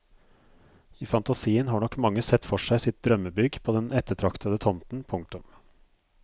I fantasien har nok mange sett for seg sitt drømmebygg på den ettertraktede tomten. punktum